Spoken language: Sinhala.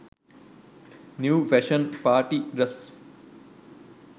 new fashion party dress